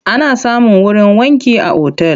Ana samun wurin wanki a otal.